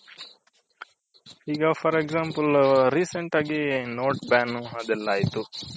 ಈಗ for Example note ban ಅದೆಲ್ಲ ಆಯ್ತು.